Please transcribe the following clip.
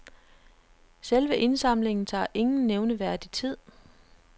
Selve indsamlingen tager ingen nævneværdig tid.